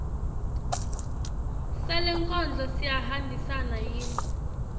salenkondlo siyahambisana yini